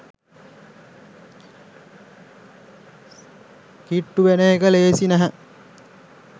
කිට්ටු වෙන එක ලෙහෙසි නැහැ